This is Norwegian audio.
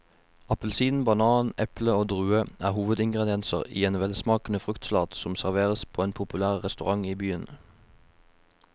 Appelsin, banan, eple og druer er hovedingredienser i en velsmakende fruktsalat som serveres på en populær restaurant i byen.